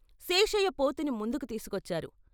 శేషయ్య పోతుని ముందుకు తీసుకొచ్చారు.